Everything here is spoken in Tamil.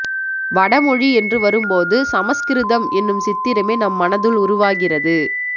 வட மொழி என்று வரும்போது சமஸ்கிருதம் என்னும் சித்திரமே நம்மனதுள் உருவாகிறது